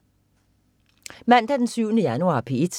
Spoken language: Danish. Mandag den 7. januar - P1: